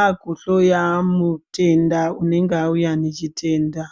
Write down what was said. aakuhloya mutenda unenge auya nechitenda.